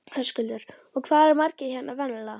Höskuldur: Og hvað eru margir hérna venjulega?